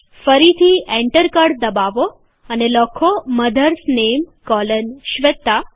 ફરીથી enter key દબાવો અને લખો મધર્સ નેમ કોલન શ્વેતા